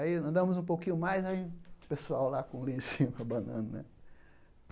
Aí, andamos um pouquinho mais, o pessoal lá com o lencinho abanando, né?